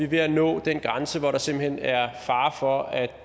ved at nå den grænse hvor der simpelt hen er fare for at